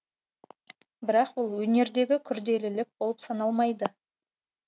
бірақ бұл өнердегі күрделілік болып саналмайды